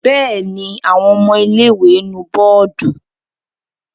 Bẹ́ẹ̀ ni, àwọn ọmọ ilé-ìwé nu bọ́ọ́dù.